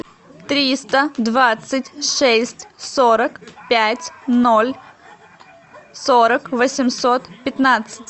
триста двадцать шесть сорок пять ноль сорок восемьсот пятнадцать